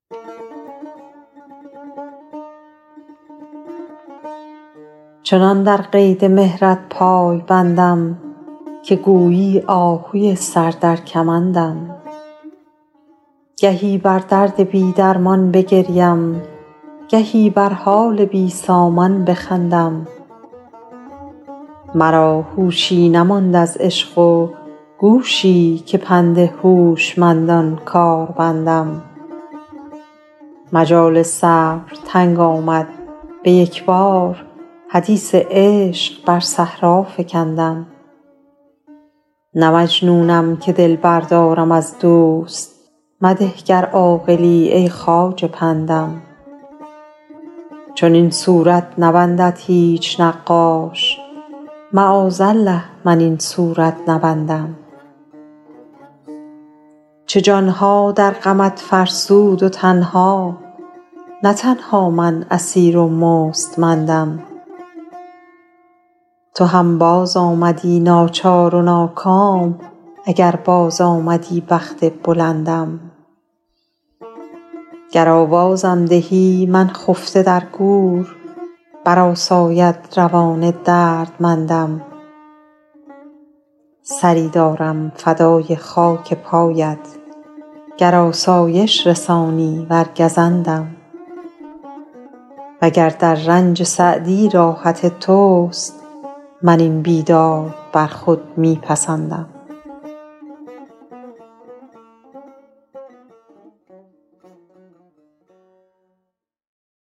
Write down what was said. چنان در قید مهرت پای بندم که گویی آهوی سر در کمندم گهی بر درد بی درمان بگریم گهی بر حال بی سامان بخندم مرا هوشی نماند از عشق و گوشی که پند هوشمندان کار بندم مجال صبر تنگ آمد به یک بار حدیث عشق بر صحرا فکندم نه مجنونم که دل بردارم از دوست مده گر عاقلی ای خواجه پندم چنین صورت نبندد هیچ نقاش معاذالله من این صورت نبندم چه جان ها در غمت فرسود و تن ها نه تنها من اسیر و مستمندم تو هم بازآمدی ناچار و ناکام اگر بازآمدی بخت بلندم گر آوازم دهی من خفته در گور برآساید روان دردمندم سری دارم فدای خاک پایت گر آسایش رسانی ور گزندم و گر در رنج سعدی راحت توست من این بیداد بر خود می پسندم